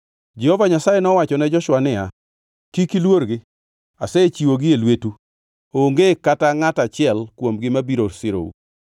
Jehova Nyasaye nomiyo gichalo joma orundore e nyim jo-Israel, mine giloyogi gi loch maduongʼ e Gibeon. Jo-Israel nolawogi ka giluwo yo madhi Beth Horon mi ginegogi ma gichopo kodgi nyaka Azeka kod Makeda.